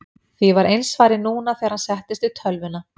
Því var eins farið núna þegar hann settist við tölvuna.